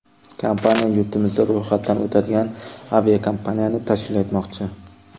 Kompaniya yurtimizda ro‘yxatdan o‘tadigan aviakompaniyani tashkil etmoqchi.